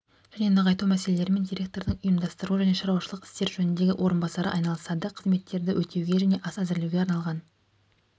және нығайту мәселелерімен директордың ұйымдастыру және шаруашылық істер жөніндегі орынбасары айналысады қызметтерді өтеуге және ас әзірлеуге арналған